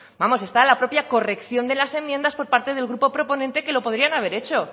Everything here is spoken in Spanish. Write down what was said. vamos está la propia corrección de las enmiendas por parte del grupo proponente que lo podrían haber hecho